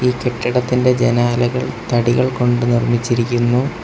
ഈ കെട്ടിടത്തിന്റെ ജനാലകൾ തടികൾ കൊണ്ട് നിർമ്മിച്ചിരിക്കുന്നു.